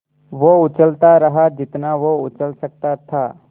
वो उछलता रहा जितना वो उछल सकता था